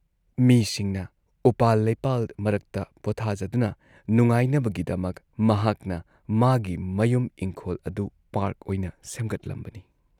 ꯃꯤꯁꯤꯡꯅ ꯎꯄꯥꯜ ꯂꯩꯄꯥꯜ ꯃꯔꯛꯇ ꯄꯣꯠꯊꯥꯖꯗꯨꯅ ꯅꯨꯡꯉꯥꯏꯅꯕꯒꯤꯗꯃꯛ ꯃꯍꯥꯛꯅ ꯃꯥꯒꯤ ꯃꯌꯨꯝ ꯏꯪꯈꯣꯜ ꯑꯗꯨ ꯄꯥꯔꯛ ꯑꯣꯏꯅ ꯁꯦꯝꯒꯠꯂꯝꯕꯅꯤ ꯫